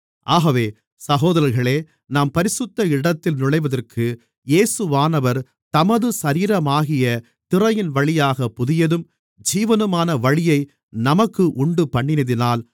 ஆகவே சகோதரர்களே நாம் பரிசுத்த இடத்தில் நுழைவதற்கு இயேசுவானவர் தமது சரீரமாகிய திரையின்வழியாகப் புதியதும் ஜீவனுமான வழியை நமக்கு உண்டுபண்ணினதினால்